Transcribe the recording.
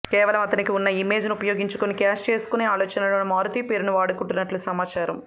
కేవలం అతనికి ఉన్న ఇమేజ్ ను ఉపయోగించుకొని క్యాష్ చేసుకునే ఆలోచనలోనే మారుతి పేరును వాడుకుంటున్నట్లు సమాచారం